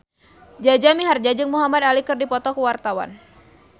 Jaja Mihardja jeung Muhamad Ali keur dipoto ku wartawan